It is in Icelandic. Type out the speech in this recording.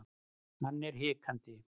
Hann er hikandi.